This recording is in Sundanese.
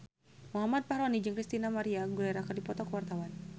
Muhammad Fachroni jeung Christina María Aguilera keur dipoto ku wartawan